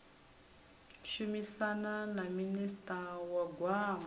shumisana na minista wa gwama